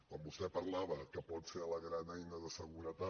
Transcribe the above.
quan vostè parlava que pot ser la gran eina de seguretat